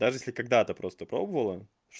даже если когда-то просто пробовала